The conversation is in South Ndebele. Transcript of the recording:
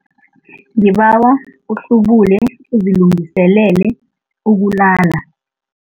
Ngibawa uhlubule uzilungiselele ukulala.